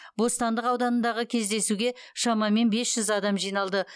бостандық ауданындағы кездесуге шамамен бес жүз адам жиналды